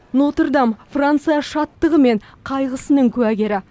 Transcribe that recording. нотр дам франция шаттығы мен қайғысының куәгері